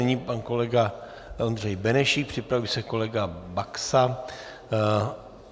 Nyní pan kolega Ondřej Benešík, připraví se kolega Baxa.